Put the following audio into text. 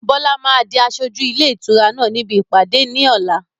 Bọlá máa di aṣojú ilé ìtura náà níbi ìpàdé ní ọ̀la.